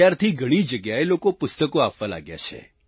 ત્યારથી ઘણી જગ્યાએ લોકો પુસ્તકો આપવા લાગ્યા છે